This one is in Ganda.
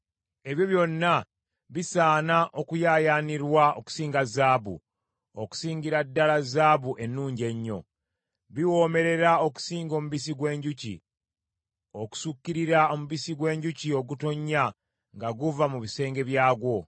Ebyo byonna bisaana okuyaayaanirwa okusinga zaabu, okusingira ddala zaabu ennungi ennyo. Biwoomerera okusinga omubisi gw’enjuki, okusukkirira omubisi gw’enjuki ogutonnya nga guva mu bisenge byagwo.